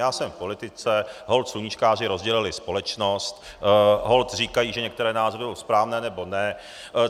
Já jsem v politice, holt sluníčkáři rozdělili společnost, holt říkají, že některé názory jsou správné nebo ne.